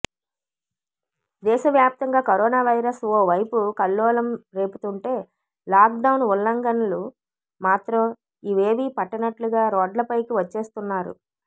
దేశవ్యాప్తంగా corona virus ఓ వైపు కల్లోలం రేపుతుంటే లాక్ డౌన్ ఉల్లంఘనులు మాత్రం ఇవేవీ పట్టనట్లుగా రోడ్లపైకి వచ్చేస్తున్నారు